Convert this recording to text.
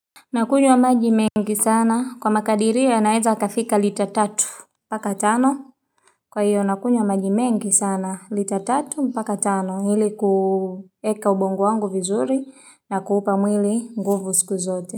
Nakunywa maji mengi sana kwa makadiri yanaeza kafika lita tatu mpaka tano kwa hiyo nakunywa maji mengi sana lita tatu mpaka tano ili kueka ubongo wangu vizuri na kuupa mwili nguvu siku zote.